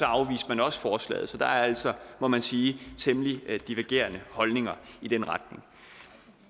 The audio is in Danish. afviste man også forslaget så der er altså må man sige temmelig divergerende holdninger i den retning